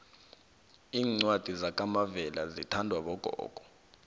iincwadi zakamavela zithandwa bogogo